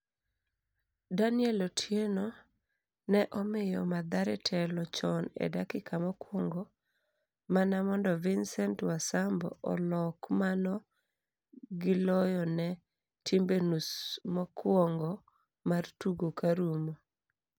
Daniel Otieno ne Omiyo Mathare telo chon e dakika mokwongo mana mondo Vincent Wasambo olok mano gi loyo ne timbe nus mokwongo mar tugo karumo.